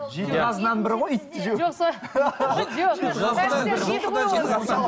жеті қазынаның бірі ғой итті жеу